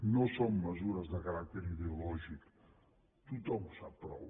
no són mesures de caràcter ideològic tothom ho sap prou